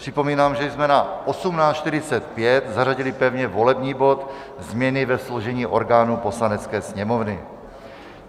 Připomínám, že jsme na 18.45 zařadili pevně volební bod změny ve složení orgánů Poslanecké sněmovny.